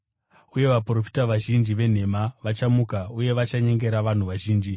uye vaprofita vazhinji venhema vachamuka uye vachanyengera vanhu vazhinji.